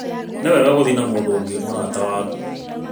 Nĩwega gũthiĩ na mũndũ ũngi mũrata waku